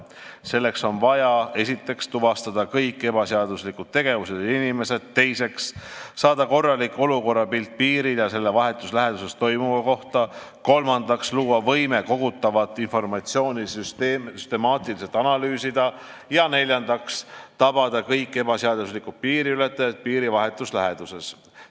Selleks on vaja, esiteks, tuvastada kõik ebaseaduslikud tegevused ja inimesed, teiseks, saada korralik olukorrapilt piiril ja selle vahetus läheduses toimuva kohta, kolmandaks, luua võime kogutavat informatsiooni süstemaatiliselt analüüsida, ja neljandaks, tabada kõik ebaseaduslikud piiriületajad piiri vahetus läheduses.